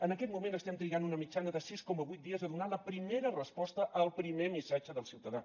en aquest moment estem trigant una mitjana de sis coma vuit dies a donar la primera resposta al primer missatge del ciutadà